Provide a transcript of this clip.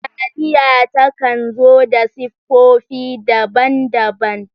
Taliya ta kan zo da siffofi daban-daban.